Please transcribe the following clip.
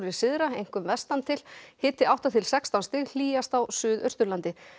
syðra einkum vestantil hiti átta til sextán stig hlýjast á Suðausturlandi